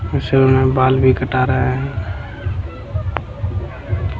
इ सैलून में बाल भी कटा रहा है।